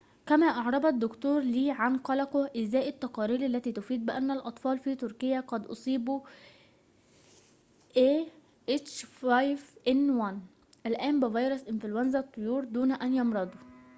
كما أعرب الدكتور لي عن قلقه إزاء التقارير التي تفيد بأن الأطفال في تركيا قد أصيبوا الآن بفيروس إنفلونزا الطيور ah5n1 دون أن يمرضوا